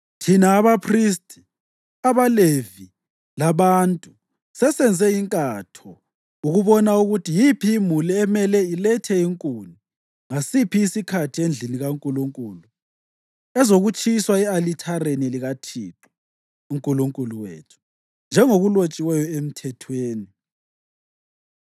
Thina abaphristi, abaLevi labantu sesenze inkatho ukubona ukuthi yiphi imuli emele ilethe inkuni ngasiphi isikhathi endlini kaNkulunkulu ezokutshiswa e-alithareni likaThixo uNkulunkulu wethu, njengokulotshiweyo eMthethweni.